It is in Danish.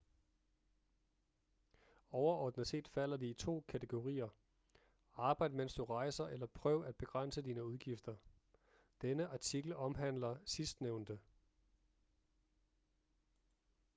overordnet set falder de i to kategorier arbejd mens du rejser eller prøv at begrænse dine udgifter denne artikel omhandler sidstnævnte